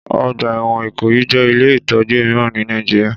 Ọgbà ẹ̀wọ̀n Ikoyi jẹ́ ilé ìtọ́jú mìíràn ní Nàìjíríà.